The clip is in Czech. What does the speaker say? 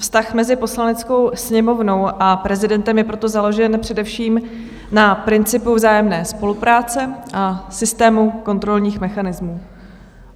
Vztah mezi Poslaneckou sněmovnou a prezidentem je proto založen především na principu vzájemné spolupráce a systému kontrolních mechanismů.